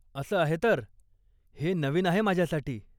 असं आहे तर, हे नवीन आहे माझ्यासाठी.